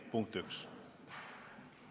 Punkt üks.